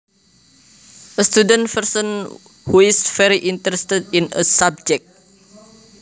A student person who is very interested in a subject